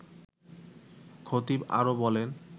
খতিব আরও বলেন